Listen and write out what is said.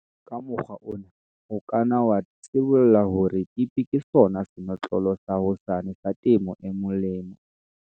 Ka mokgwa ona, o ka nna wa sibolla hore TP ke sona senotlolo sa hosane sa temo e molemo.